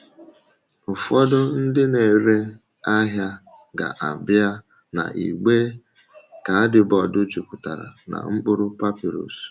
Ụfọdụ ndị na-ere ahịa ga-abịa na igbe kaadibọọdụ jupụtara na mkpụrụ papịrụs.